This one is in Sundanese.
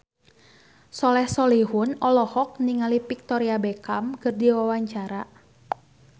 Soleh Solihun olohok ningali Victoria Beckham keur diwawancara